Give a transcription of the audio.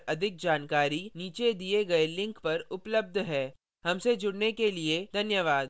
यह स्क्रिप्ट प्रभाकर द्वारा अनुवादित है आई आई टी मुंबई की ओर से मैं यश वोरा अब आपसे विदा लेता हूँ हमसे जुड़ने के लिए धन्यवाद